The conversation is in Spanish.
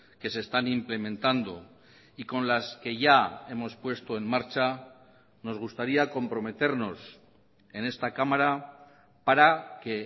que se están implementando y con las que ya hemos puesto en marcha nos gustaría comprometernos en esta cámara para que